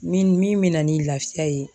Min min bɛ na ni lafiya ye